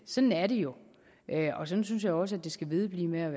sådan er det jo og sådan synes jeg også det skal vedblive med